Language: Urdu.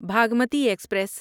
بھاگمتی ایکسپریس